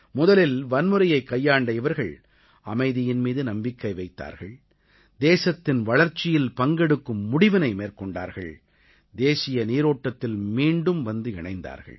முதலில் வன்முறையைக் கையாண்ட இவர்கள் அமைதியின் மீது நம்பிக்கை வைத்தார்கள் தேசத்தின் வளர்ச்சியில் பங்கெடுக்கும் முடிவினை மேற்கொண்டார்கள் தேசிய நீரோட்டத்தில் மீண்டும் வந்து இணைந்தார்கள்